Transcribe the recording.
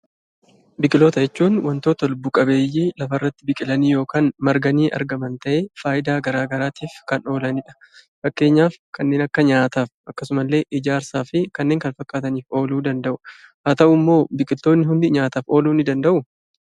Biqiloota jechuun wantoota lubbu qabeeyyii lafarratti biqilanii yookan marganii argaman ta'ee faayidaa garaagaraatif kan oolanidha. Fakkeenyaf kanneen akka nyaataf akkasumallee ijaarsaafi kanneen kana fakkaataniif ooluu danda'u. Haa ta'ummoo malee biqiltoonni hundi nyaataf ooluu ni danda'uu?